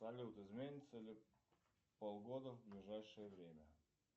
салют изменится ли погода в ближайшее время